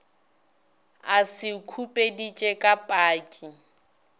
a se khupeditše ka paki